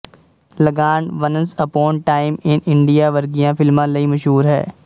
ਲਗਾਨ once upon time in India ਵਰਗੀਆਂ ਫਿਲਮਾਂ ਲਈ ਮਸ਼ੂਰ ਹੈ